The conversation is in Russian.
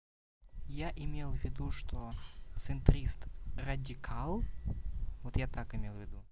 я имел в виду что центрист радикал вот я так имел в виду